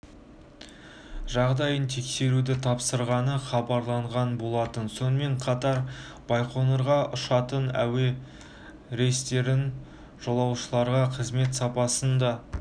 жағдайын тексеруді тапсырғаны хабарланған болатын сонымен қатар байқоңырға ұшатын әуе рейстерінің жолаушыларға қызмет сапасын да